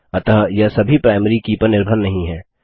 अतः यह सभी प्राइमरी की पर निर्भर नहीं है